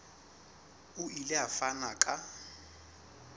o ile a fana ka